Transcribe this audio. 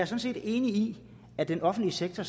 set enig i at den offentlige sektor